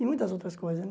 E muitas outras coisas, né?